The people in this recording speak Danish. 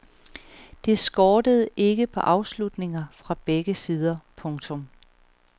Det skortede ikke på afslutninger fra begge sider. punktum